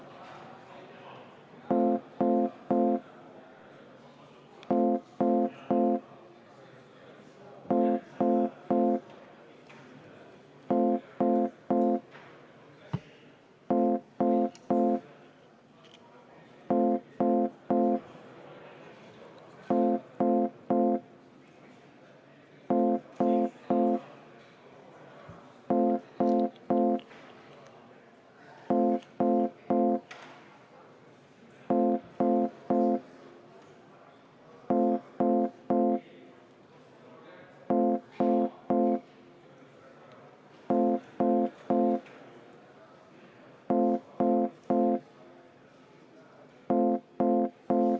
Me läheme selle muudatusettepaneku hääletamise juurde.